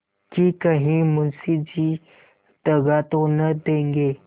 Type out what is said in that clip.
कि कहीं मुंशी जी दगा तो न देंगे